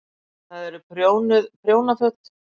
Það eru prjónuð prjónaföt.